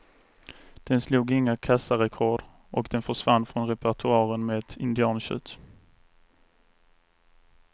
Den slog inga kassarekord och den försvann från repertoaren med ett indiantjut.